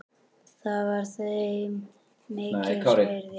Það var þeim mikils virði.